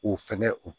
O fɛngɛ o